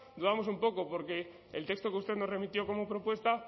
dudamos un poco porque el texto que usted nos remitió como propuesta